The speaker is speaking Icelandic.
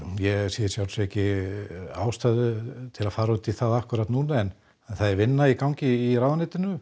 ég sé ekki ástæðu til að fara út í það núna en það er vinna í gangi í ráðuneytinu